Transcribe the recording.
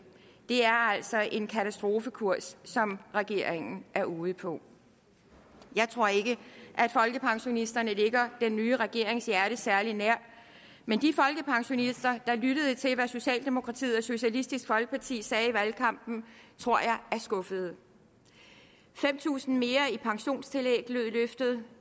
det er altså en katastrofekurs som regeringen er ude på jeg tror ikke at folkepensionisterne ligger den nye regerings hjerte særlig nær men de folkepensionister der lyttede til hvad socialdemokratiet og socialistisk folkeparti sagde i valgkampen tror jeg er skuffede fem tusind kroner mere i pensionstillæg lød løftet